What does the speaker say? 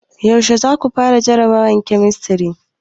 Yaushe za ku fara jarabawar kemistri?